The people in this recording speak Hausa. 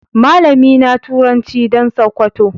Malami na turanci dan sokoto.